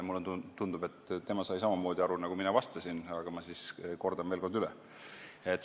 Mulle tundub, et tema sai samamoodi aru, nagu mina vastasin, aga ma siis kordan veel kord üle.